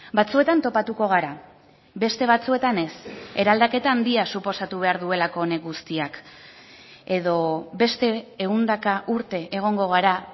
batzuetan topatuko gara beste batzuetan ez eraldaketa handia suposatu behar duelako honek guztiak edo beste ehundaka urte egongo gara